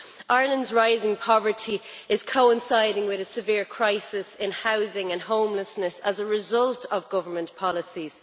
Ireland's rising poverty is coinciding with a severe crisis in housing and homelessness, as a result of government policies.